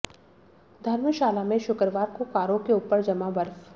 धर्मशाला में शुक्रवार को कारों के ऊपर जमा बर्फ